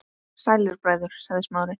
Sælir bræður- sagði Smári.